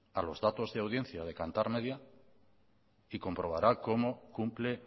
a los datos de audiencia de kantar media y comprobará cómo cumple